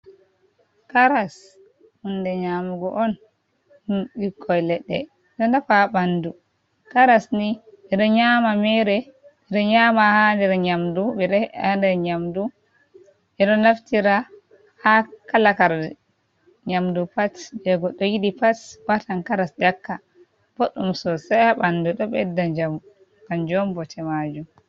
Karas hunde nyamugo on ɗum ɓikon leɗɗe ɗonafa ɓandu. Karas nii ɓe ɗo nyama mere, ɓe ɗo nyama haa nder nyamdu, ɓe ɗo he'a haa nder nyamdu, ɓe ɗo naftira haa kala kar nyamdu pat, je goɗɗo yiɗi pat watan karas ƴakka, boɗɗum sosei haa ɓandu ɗo ɓedda njamu kanjm on bote majum.